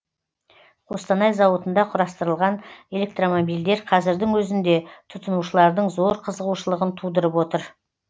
қостанай зауытында құрастырылған электромобильдер қазірдің өзінде тұтынушылардың зор қызығушылығын тудырып отыр